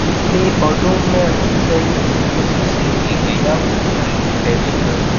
ní ọdún mẹrin sẹyin mo ti ṣe ìgbéyàwó pẹlu ẹni kan